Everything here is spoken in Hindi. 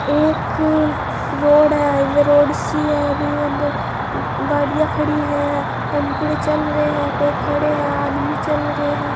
यह एक रोड है हाईवे रोड सी है बीमे अंदर गाड़िया खड़ी है टमपुडे चल रहे है कोई खड़े हैं आदमी चल रहे हैं।